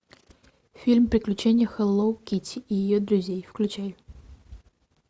фильм приключения хелло китти и ее друзей включай